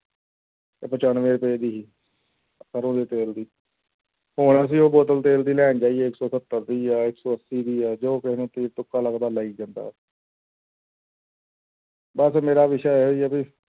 ਉਹ ਪਚਾਨਵੇਂ ਰੁਪਏ ਦੀ ਸੀ ਸਰੋਂ ਦੇ ਤੇਲ ਦੀ, ਹੁਣ ਅਸੀਂ ਉਹ ਬੋਤਲ ਤੇਲ ਦੀ ਲੈਣ ਜਾਈਏ ਇੱਕ ਸੌ ਸੱਤਰ ਦੀ ਹੈ ਜਾਂ ਇੱਕ ਸੌ ਅੱਸੀ ਦੀ ਹੈ ਜੋ ਕਿਸੇ ਨੂੰ ਤੀਰ ਤੁੱਕਾ ਲੱਗਦਾ ਲਾਈ ਜਾਂਦਾ ਵਾ ਬਸ ਮੇਰਾ ਵਿਸ਼ਾ ਇਹੀ ਹੈ ਵੀ